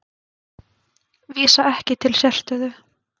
Vísa ekki til sérstöðu